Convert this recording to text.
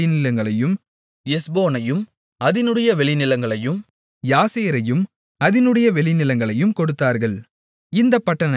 எஸ்போனையும் அதினுடைய வெளிநிலங்களையும் யாசேரையும் அதினுடைய வெளிநிலங்களையும் கொடுத்தார்கள் இந்தப் பட்டணங்கள் நான்கு